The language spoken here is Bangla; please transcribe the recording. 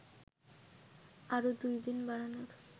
আরও ২ দিন বাড়ানোর